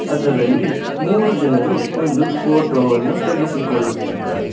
ಅದರಲ್ಲಿ ಮೂರು ಜನರು ಒಂದು ಫೋಟೋ ವನ್ನು ತೆಗೆಸಿಕೊಳ್ಳುತ್ತಿದ್ದಾರೆ.